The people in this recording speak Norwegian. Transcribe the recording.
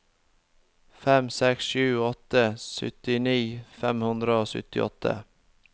fem seks sju åtte syttini fem hundre og syttiåtte